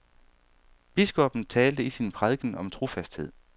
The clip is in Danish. Biskoppen talte i sin prædiken om trofasthed.